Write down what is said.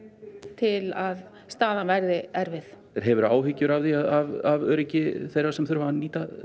til að staðan verði erfið hefurður áhyggjur af öryggi þeirra sem þurfa að nýta